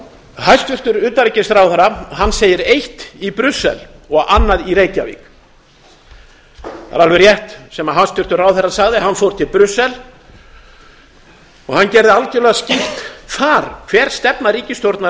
hæstvirtur utanríkisráðherra segir eitt í brussel og annað í reykjavík það er alveg rétt sem hæstvirtur ráðherra sagði hann fór til brussel og hann gerði algjörlega skýrt þar hver stefna ríkisstjórnarinnar